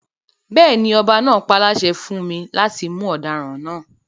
Bẹ́ẹ̀ni, ọba náà páláṣẹ fún mi láti mú ọdaràn náà